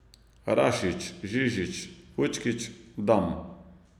Rašić, Žižić, Vučkić, Dam.